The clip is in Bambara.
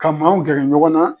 Ka maaw gɛrɛ ɲɔgɔn na